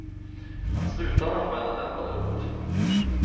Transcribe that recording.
Att sluta använda den var dumt.